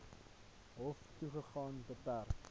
hof toegang beperk